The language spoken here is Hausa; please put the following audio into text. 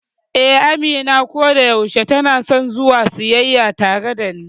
Eh, Amina kodayaushe tanason zuwa siyayya tare dani.